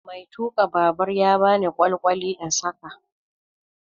Mai tuka babur ya bani kwalkwali in saƙa.